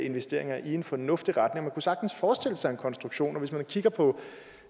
investeringer i en fornuftig retning man kunne sagtens forestille sig en konstruktion hvis man kigger på